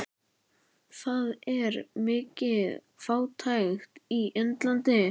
Það er mikil fátækt á Indlandi.